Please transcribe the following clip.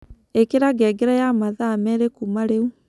ĩkĩra ngengere ya mathaa merĩ kũma rĩĩu